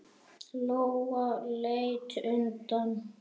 Lóa leit undan.